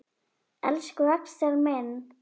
Elsku Axel minn.